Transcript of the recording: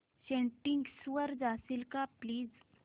settings वर जाशील का प्लीज